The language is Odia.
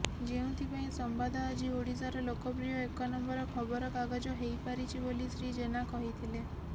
ଯେଉଁଥିପାଇଁ ସମ୍ବାଦ ଆଜି ଓଡ଼ିଶାର ଲୋକପ୍ରିୟ ଏକ ନମ୍ବର ଖବରକାଗଜ ହେଇପାରିଛି ବୋଲି ଶ୍ରୀ ଜେନା କହିଥିଲେ